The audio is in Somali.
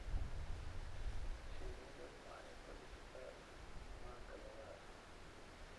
Shinnidu waxay ku sidataa manka lugaha.